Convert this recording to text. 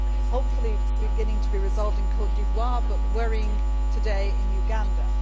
hopefully beginning to be resolved in Cote d'Ivoire but worrying today in Uganda.